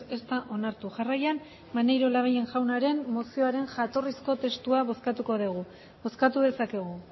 ez da onartu jarraian maneiro labayen jaunaren mozioaren jatorrizko testua bozkatuko degu bozkatu dezakegu